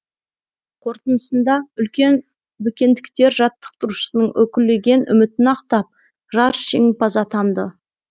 қорытындысында үлкен бөкендіктер жаттықтырушысының үкілеген үмітін ақтап жарыс жеңімпазы атанды